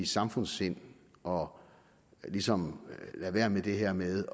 samfundssind og ligesom lade være med være med